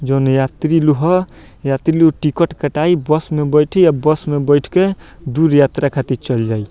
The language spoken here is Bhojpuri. जोन यात्री लोग हा यात्री लोग टिकट कटाई बस में बैठी अ बस में बईठ के दूर यात्रा खाति चल जाई।